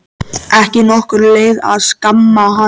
Ekki nokkur leið að skamma hann.